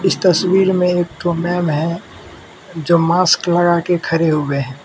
इस तस्वीर में एक थी मैम है जो मास्क लगाकर खरे हुए है।